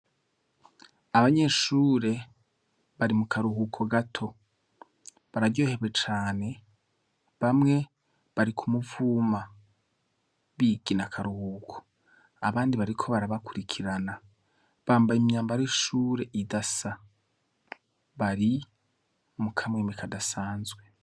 Abanyeshure bari mu karuhuko gato bararyoherwe cane bamwe bari ku muvuma bigina akaruhuko abandi bariko barabakurikirana bambaye imyambare ishure idasa bari mukamwema kadasanzwe.